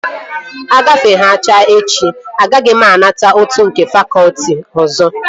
Ọ gafekwehana echi, agaghị m anata ụtụ nke fakọtị ọzọ